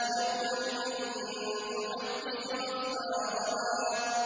يَوْمَئِذٍ تُحَدِّثُ أَخْبَارَهَا